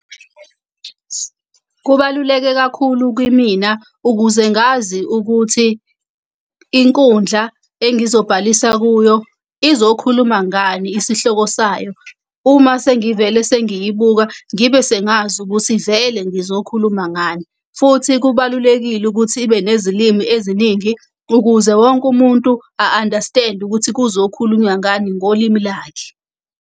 Kubaluleke kakhulu kimina ukuze ngazi ukuthi inkundla engizobhalisa kuyo izokhuluma ngani isihloko sayo. Uma sengivele sengiyibuka, ngibe sengazi ukuthi vele ngizokhuluma ngani. Futhi kubalulekile ukuthi ibe nezilimi eziningi, ukuze wonke umuntu a-understand-e ukuthi kuzokhulunywa ngani ngolimi lakhe.